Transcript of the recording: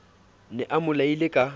ne a mo laile ka